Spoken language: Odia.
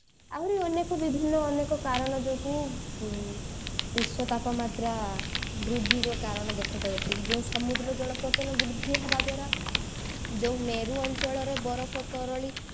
ଆହୁରି ବିଭିନ୍ନ ଅନେକ କାରଣ ଯୋଗୁ ଉଁ ବିଶ୍ଵ ତାପମାତ୍ରା ବୃଦ୍ଧିର କାରଣ ଦେଖେଇ ଦଉଛି ଯୋଉ ସମୁଦ୍ର ଜଳପତନ ବୃଦ୍ଧି ହେବା ଦ୍ଵାରା ଯୋଉ ମେରୁ ଅଞ୍ଚଳର ବରଫ ତରଳି